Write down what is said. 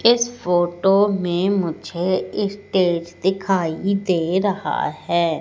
इस फोटो में मुझे स्टेज दिखाई दे रहा है।